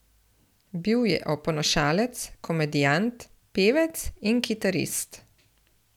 Bil je oponašalec, komedijant, pevec in kitarist.